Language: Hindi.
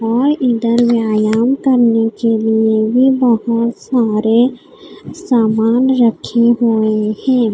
और इधर व्यायाम करने के लिए भी बहुत सारे सामान रखे हुए हैं।